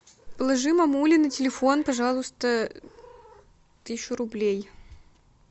положи мамуле на телефон пожалуйста тысячу рублей